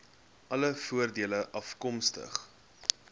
alle voordele afkomstig